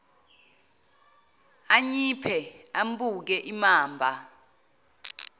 anyiphe ambuke imamba